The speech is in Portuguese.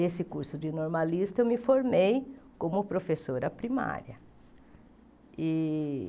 Esse curso de normalista eu me formei como professora primária e.